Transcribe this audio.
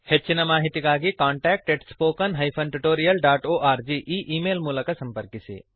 ಹೆಚ್ಚಿನ ಮಾಹಿತಿಗಾಗಿ contact spoken tutorialorg e email ಮೂಲಕ ಸಂಪರ್ಕಿಸಿ